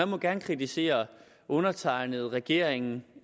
må gerne kritisere undertegnede regeringen